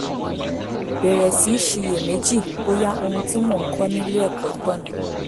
bẹ̀rẹ̀ sí í ṣiyèméjì bóyá ohun tí mò ń kọ́ nílé ẹ̀kọ́ tọ̀nà